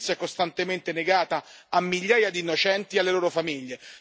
la giustizia è costantemente negata a migliaia di innocenti e alle loro famiglie